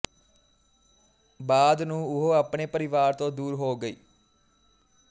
ਬਾਅਦ ਨੂੰ ਉਹ ਆਪਣੇ ਪਰਿਵਾਰ ਤੋਂ ਦੂਰ ਹੋ ਗਈ